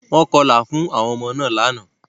Wọ́n kọlà fún àwọn ọmọ náà lánàá.